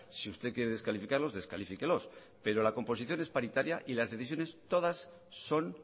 si usted quiere descalificarlos descalifíquelos pero la composición es paritaria y las decisiones todas son